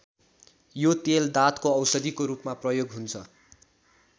यो तेल दाँतको औषधिको रूपमा प्रयोग हुन्छ।